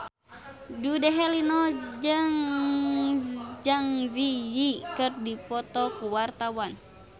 Dude Herlino jeung Zang Zi Yi keur dipoto ku wartawan